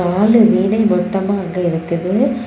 நாலு வீணை மொத்தமா அங்க இருக்குது.